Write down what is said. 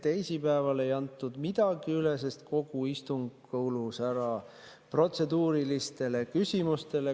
Teisipäeval ei antud midagi üle, sest kogu istung kulus protseduurilistele küsimustele.